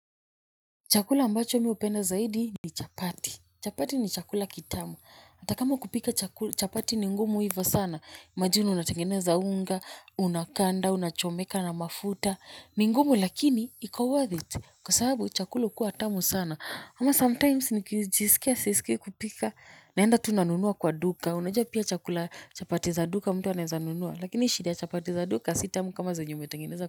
Chakula ambacho mi hupenda zaidi ni chapati. Chapati ni chakula kitamu. Hata kama kupika chapati ni ngumu hivyo sana. Imagine unatengeneza unga, unakanda, unachomeka na mafuta. Ni ngumu lakini iko worth it kwa sababu chakula hukuwa tamu sana. Ama sometime nikijisikia sisikii kupika. Naenda tu nanunua kwa duka. Unajua pia chakula chapati za duka mtu anaweza nunua. Lakini shida ya chapati za duka si tamu kama zenye umetengeneza.